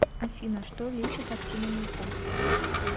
афина что лечит актиномикоз